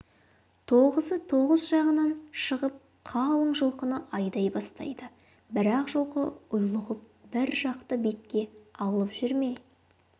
тоғызы тоғыз жағынан шығып қалың жылқыны айдай бастайды бірақ жылқы ұйлығып бір жақты бетке алып жүре